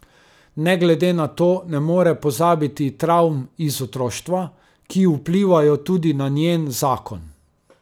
Ne glede na to ne more pozabiti travm iz otroštva, ki vplivajo tudi na njen zakon.